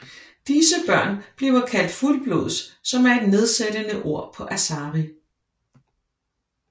Disse børn bliver kaldt fuldblods som er et nedsættende ord på Asari